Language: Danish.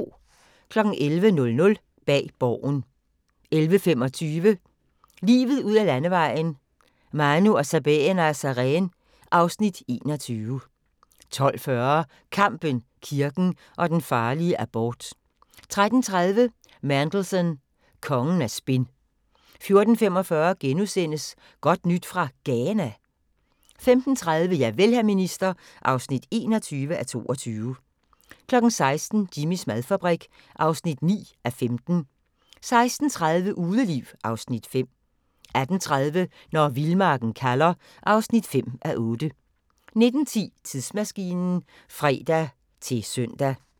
11:00: Bag Borgen 11:25: Livet ud ad landevejen: : Manu og Sabeena Sareen (Afs. 21) 12:40: Kampen, kirken og den farlige abort 13:30: Mandelson – kongen af spin 14:45: Godt nyt fra Ghana? * 15:30: Javel, hr. minister (21:22) 16:00: Jimmys madfabrik (9:15) 16:30: Udeliv (Afs. 5) 18:30: Når vildmarken kalder (5:8) 19:10: Tidsmaskinen (fre-søn)